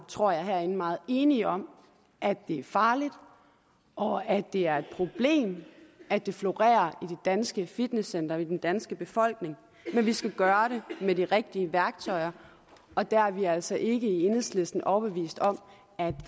tror jeg meget enige om at det er farligt og at det er et problem at det florerer i de danske fitnesscentre og i den danske befolkning men vi skal gøre det med de rigtige værktøjer og der er vi altså i enhedslisten ikke overbevist om at